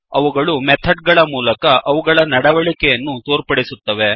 ಅವುಗಳು ಮೆಥಡ್ ಗಳ ಮೂಲಕ ಅವುಗಳ ನಡವಳಿಕೆಯನ್ನು ತೋರ್ಪಡಿಸುತ್ತವೆ